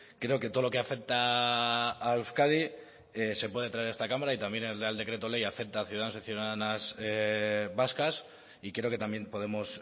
creo que todo lo que afecta a euskadi se puede traer a esta cámara y también el real decreto ley afecta a ciudadanos y ciudadanas vascas y creo que también podemos